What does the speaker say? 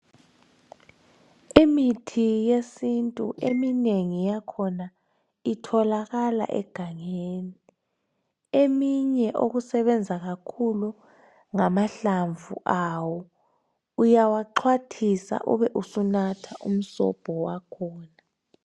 Imithi yesintu eminengi iyakhona itholakala egangeni eminye okusebenza kakhulu ngamahlamvu awo uyawaxhwathisa ube sunatha umsobho wakhona.